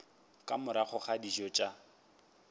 ka morago ga dijo tša